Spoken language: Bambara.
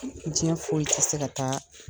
diɲɛ foyi te se ka taa